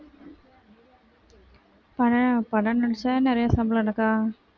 படம் படம் நடிச்சா நிறைய சம்பளம் என்னக்கா